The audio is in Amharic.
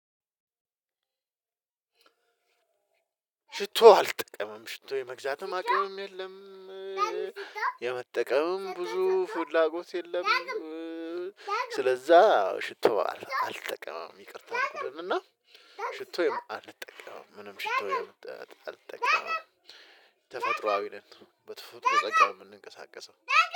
ሽቶ አልጠቀምም ሽቶ የመግዛትም አቅምም የለም የመጠቀምም ብዙ ፍላጎት የለም ስለዛ አዎ ሽቶ አልጠቀምም ይቅርታ አልኩኝ እና ሽቶ አልጠቀምም ምንም ሽቶ አልጠቀምም። ተፈጥሮአዊ ነን በተፈጥሮ ጸጋ የምንንቀሳቀሰው